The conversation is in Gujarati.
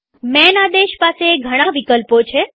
માન આદેશ પાસે ઘણા વિકલ્પો છે